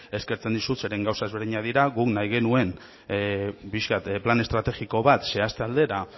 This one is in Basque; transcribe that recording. eskertzen dizut zeren gauza ezberdinak guk nahi genuen pixka bat plan estrategiko bat zehazte aldera